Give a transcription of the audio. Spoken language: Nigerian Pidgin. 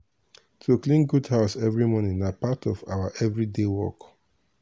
to clean goat house every morning na part of our every day work.